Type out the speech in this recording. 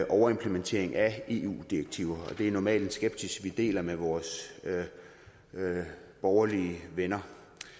overimplementering af eu direktiver og det er normalt en skepsis vi deler med vores borgerlige venner